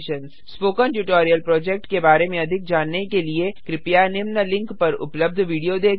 spoken tutorial project के बारे में अधिक जानने के लिए कृपया निम्न लिंक पर उपलब्ध विडियो देखें